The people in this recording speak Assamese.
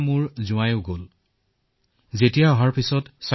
আমাৰ জোঁৱাইও গৈছিল তেওঁ দিল্লীত থাকে